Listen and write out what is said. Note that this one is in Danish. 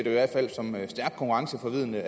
i hvert fald som stærkt konkurrenceforvridende